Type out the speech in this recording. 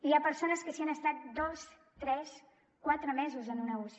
hi ha persones que s’hi han estat dos tres quatre mesos en una uci